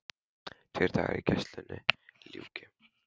Tveir dagar í að gæslunni ljúki.